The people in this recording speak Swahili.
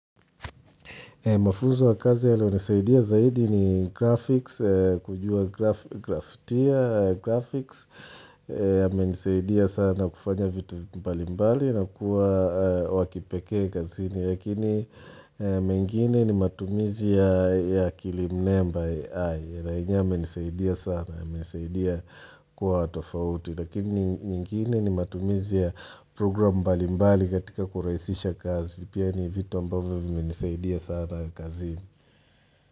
Mafunzo ya kazi yaliyo nisaidia zaidi ni graphics, kujua grafutia, graphics, ya menisaidia sana kufanya vitu mbali mbali na kuwa wakipekee kazini. Lakini mengine ni matumizi ya akil mnemba AI yenye yamenisaidia sana, yamenisaidia kuwa watofauti. Lakini nyingine ni matumizi ya programu mbali mbali katika kuraisisha kazi. Pia ni vitu ambavyo vimenesaida sana kazini.